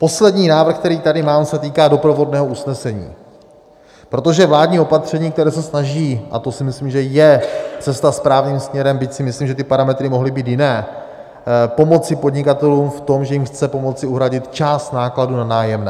Poslední návrh, který tady mám, se týká doprovodného usnesení, protože vládní opatření, které se snaží - a to si myslím, že je cesta správným směrem, byť si myslím, že ty parametry mohly být jiné - pomoci podnikatelům v tom, že jim chce pomoci uhradit část nákladů na nájemné.